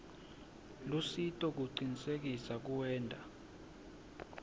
lusito kucinisekisa kuwenta